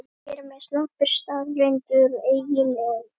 Hér með sleppir staðreyndunum eiginlega.